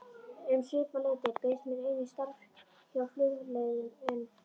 Um svipað leyti bauðst mér einnig starf hjá Flugleiðum en